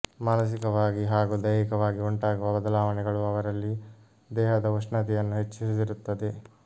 ಮಾನಸಿಕವಾಗಿ ಹಾಗೂ ದೈಹಿಕವಾಗಿ ಉಂಟಾಗುವ ಬದಲಾವಣೆಗಳು ಅವರಲ್ಲಿ ದೇಹದ ಉಷ್ಣತೆಯನ್ನು ಹೆಚ್ಚಿಸಿರುತ್ತದೆ